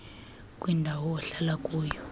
kwindawo ohlala kuyo